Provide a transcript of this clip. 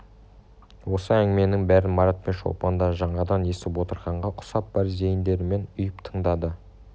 осы әңгіменің бәрін марат пен шолпан да жаңадан естіп отырғанға ұқсап бар зейіндерімен ұйып тыңдады